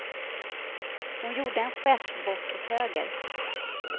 Hon gjorde en gest bort åt höger.